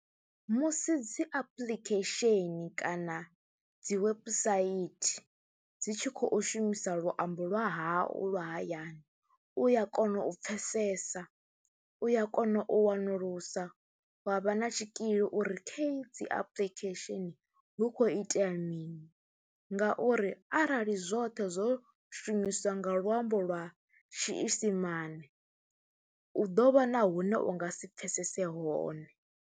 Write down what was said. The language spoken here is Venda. Musi dzi apuḽikhesheni kana dzi webusaithi dzi tshi khou shumisa luambo lwa hau lwa hayani u ya kona u pfhesesa, u ya kona u wanulusa wa vha na tshikili uri kha edzi apuḽikhesheni hu khou itea mini ngauri arali zwoṱhe zwo shumiswa nga luambo lwa tshiisimane u ḓo vha na hune u nga si pfhesese hone.